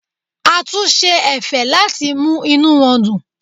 A tún ṣe ẹ̀fẹ̀ láti mú inú wọn dùn.